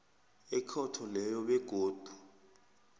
ekhotho leyo begodu